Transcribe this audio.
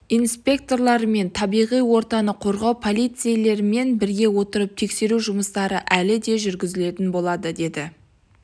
инспекторлары мен табиғи ортаны қорғау полицейлерімен біріге отырып тексеру жұмыстары әлі де жүргізілетін болады деді